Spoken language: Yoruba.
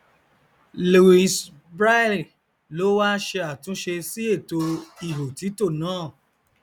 louise braille ló wá ṣe àtúnṣe sí ètò ihòtítò náà